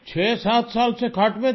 7 साल से खाट पे थी